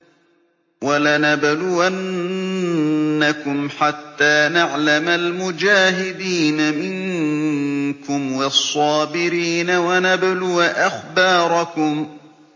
وَلَنَبْلُوَنَّكُمْ حَتَّىٰ نَعْلَمَ الْمُجَاهِدِينَ مِنكُمْ وَالصَّابِرِينَ وَنَبْلُوَ أَخْبَارَكُمْ